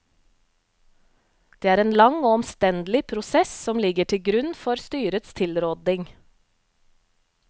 Det er en lang og omstendelig prosess som ligger til grunn for styrets tilråding.